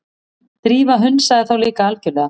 Drífa hunsaði þá líka algjörlega.